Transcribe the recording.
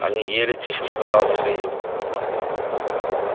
они ели тихо сказал михаил